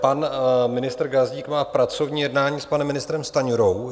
Pan ministr Gazdík má pracovní jednání s panem ministrem Stanjurou.